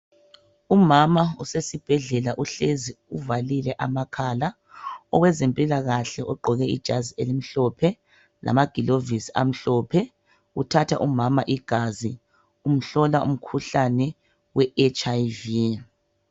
Umama usesibhedlela uhlezi uvalile amakhala. Owezempilakahle ugqoke ijazi elimhlophe lamagilovisi amhlophe. Uthatha umama igazi, umhlola umkhuhlane we HIV.